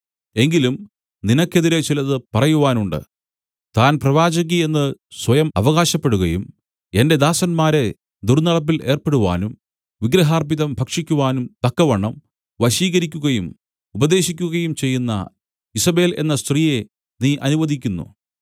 എങ്കിലും നിനക്കെതിരെ ചിലത് പറയുവാനുണ്ട് താൻ പ്രവാചകി എന്ന് സ്വയം അവകാശപ്പെടുകയും എന്റെ ദാസന്മാരെ ദുർന്നടപ്പിൽ ഏർപ്പെടുവാനും വിഗ്രഹാർപ്പിതം ഭക്ഷിക്കുവാനും തക്കവണ്ണം വശീകരിക്കുകയും ഉപദേശിക്കുകയും ചെയ്യുന്ന ഈസബേൽ എന്ന സ്ത്രീയെ നീ അനുവദിക്കുന്നു